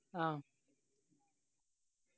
ആ